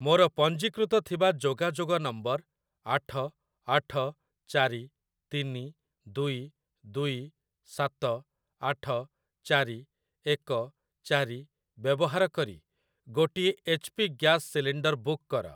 ମୋର ପଞ୍ଜୀକୃତ ଥିବା ଯୋଗାଯୋଗ ନମ୍ବର ଆଠ ଆଠ ଚାରି ତିନି ଦୁଇ ଦୁଇ ସାତ ଆଠ ଚାରି ଏକ ଚାରି ବ୍ୟବହାର କରି ଗୋଟିଏ H P gas cylinder book କର।